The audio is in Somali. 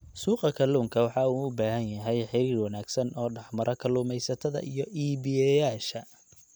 Suuqa kalluunka waxa uu u baahan yahay xidhiidh wanaagsan oo dhex mara kalluumaysatada iyo iibiyeyaasha.